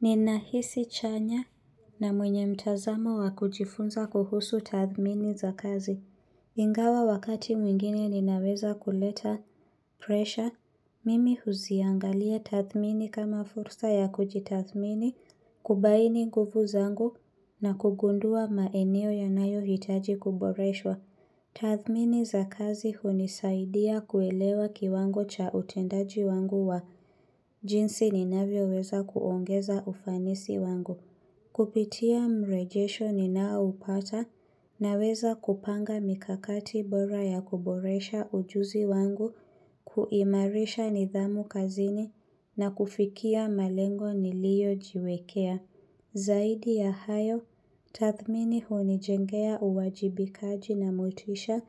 Ninahisi chanya na mwenye mtazamo wa kujifunza kuhusu tathmini za kazi. Ingawa wakati mwingine ninaweza kuleta pressure. Mimi huziangalia tathmini kama fursa ya kujitathmini kubaini nguvu zangu na kugundua maeneo yanayo hitaji kuboreshwa. Tathmini za kazi hunisaidia kuelewa kiwango cha utendaji wangu wa jinsi ninavyoweza kuongeza ufanisi wangu. Kupitia mrejesho ninao upata naweza kupanga mikakati bora ya kuboresha ujuzi wangu, kuimarisha nidhamu kazini na kufikia malengo niliojiwekea. Zaidi ya hayo, tathmini hunijengea uwajibikaji na motisha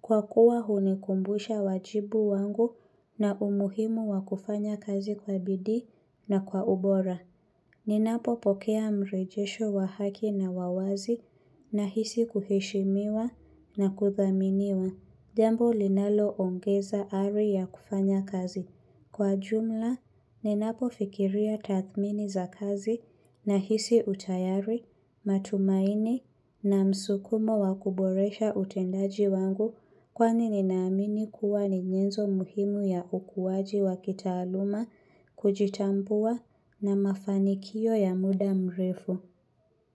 kwa kuwa hunikumbusha wajibu wangu na umuhimu wa kufanya kazi kwa bidii na kwa ubora. Ninapopokea mrejesho wa haki na wa wazi nahisi kuheshimiwa na kuthaminiwa. Nahisi utayari, matumaini na msukumo wa kuboresha utendaji wangu kwani ninaamini kuwa ni nyenzo muhimu ya ukuwaji wa kitaaluma kujitambua na mafanikio ya muda mrefu.